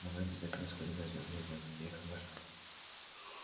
но мы обязательно сходим на звёздные войны я их обожаю